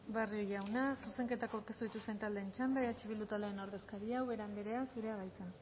barrio jauna zuzenketak aurkeztu dituzten taldeen txanda eh bildu taldeen ordezkaria ubera andrea zurea da hitza